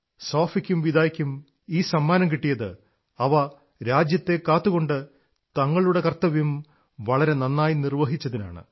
സോഫിക്കും വിദായ്ക്കും ഈ സമ്മാനം കിട്ടിയത് അവ രാജ്യത്തെ കാത്തുകൊണ്ട് തങ്ങളുടെ കർത്തവ്യം വളരെ നന്നായി നിർവ്വഹിച്ചതിനാണ്